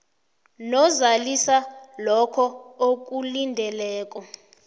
nozalisa lokho akulindeleko